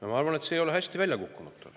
Ja ma arvan, et see ei ole hästi välja kukkunud.